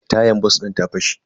Tayan bas din ta fashe.